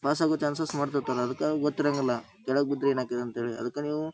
pass ಆಗೋ chances ಮಾಡ್ತಾಯಿರಲ್ಲ ಅದಕ್ಕ ಗೊತ್ತಿರಂಗಿಲ್ಲ ಕೆಳಗ ಬಿದ್ರ ಏನ್ ಆಕ್ಕೇತಿ ಅಂತ ಹೇಳಿ ಅದಕ್ಕ ನೀವು--